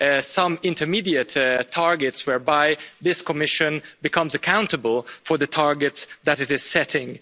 see some intermediate targets, whereby by this Commission becomes accountable for the targets that it is setting.